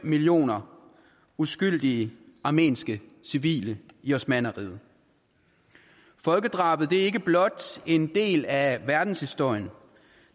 millioner uskyldige armenske civile i osmannerriget folkedrabet er ikke blot en del af verdenshistorien